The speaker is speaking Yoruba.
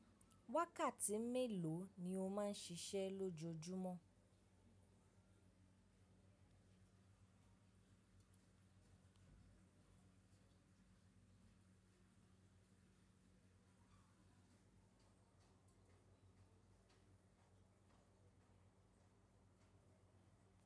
Wákàtí mélòó ni o máa ń ṣiṣẹ́ lójoojúmọ́?